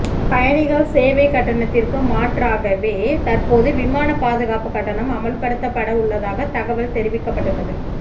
பயணிகள் சேவை கட்டணத்திற்கு மாற்றாகவே தற்போது விமானப் பாதுகாப்புக் கட்டணம் அமல்படுத்தப்பட உள்ளதாக தகவல் தெரிவிக்கப்பட்டுள்ளது